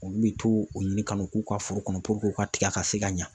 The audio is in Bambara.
Olu bɛ to u ɲini ka n'o k'u ka foro kɔnɔ u ka tiga ka se ka ɲa.